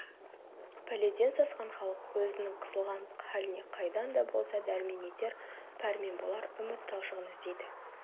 пәледен сасқан халық өзінің қысылған халіне қайдан да болса дәрмен етер пәрмен болар үміт талшығын іздейді